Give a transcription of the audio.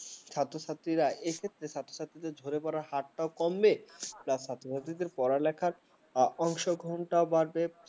ছাত্র ছাত্রীরা এক্ষেত্রে ছাত্রছাত্রীদের ঝরে পড়া হাতটাও কমবে plus ছাত্র-ছাত্রীদের পড়ালেখা অশো ঘন্টা বাড়বে ।